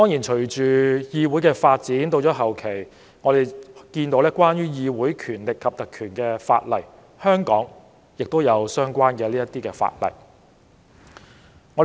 隨着議會發展，後期出現有關議會權力及特權的法例，香港亦有相關法例。